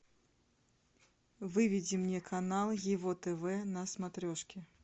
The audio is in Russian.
выведи мне канал его тв на смотрешке